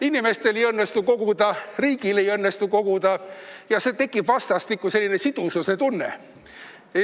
Inimestel ei õnnestu koguda, riigil ei õnnestu koguda ja tekib vastastikku selline sidususe tunne.